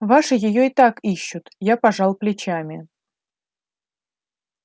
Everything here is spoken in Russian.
ваши её и так ищут я пожал плечами